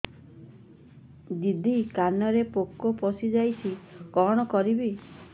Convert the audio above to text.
ଦିଦି କାନରେ ପୋକ ପଶିଯାଇଛି କଣ କରିଵି